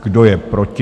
Kdo je proti?